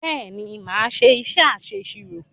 Bẹ́ẹ̀ ni, mà á ṣé iṣẹ́ aṣẹ̀sirò.